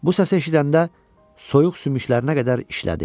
Bu səsi eşidəndə soyuq sümüklərinə qədər işlədi.